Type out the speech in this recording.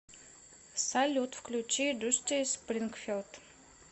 салют включи дусти спрингфилд